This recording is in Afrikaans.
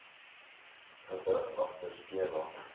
gewig agter skema